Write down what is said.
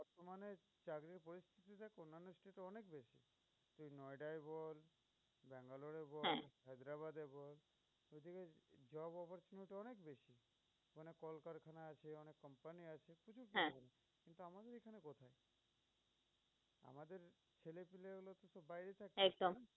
একদম।